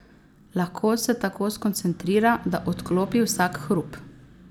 Lahko se tako skoncentrira, da odklopi vsak hrup.